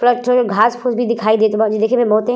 घास फूस भी दिखाई देत बा जे देखे में बहुते --